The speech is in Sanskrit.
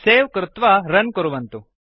सवे कृत्वा रुन् कुर्वन्तु